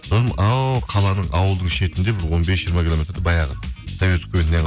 содан анау қаланың ауылдың шетінде бір он бес жиырма километрде баяғы совет үкіметінен